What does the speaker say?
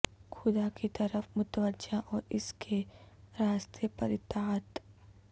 خدا کی طرف متوجہ اور اس کے راستے پر اطاعت